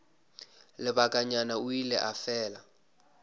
lebakanyana o ile a fela